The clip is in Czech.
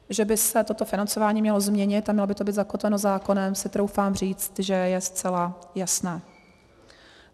Že by se toto financování mělo změnit a mělo by to být zakotveno zákonem, si troufám říct, že je zcela jasné.